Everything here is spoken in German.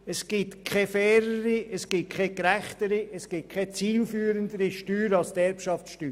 Es gibt keine fairere, gerechtere und zielführendere Steuer als die Erbschaftssteuer.